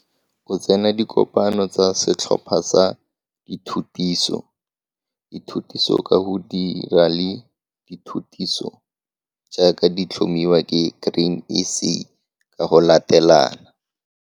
O tsena dikopano tsa setlhopha sa dithutiso, dithutiso ka go dira le dithutiso jaaka di tlhomiwa ke Grain SA ka go latelana.